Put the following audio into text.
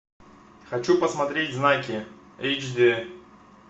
хочу посмотреть знаки эйч дэ